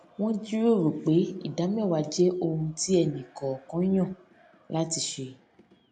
wón jíròrò pé ìdáméwàá jé ohun tí ẹnì kòòkan yàn láti ṣe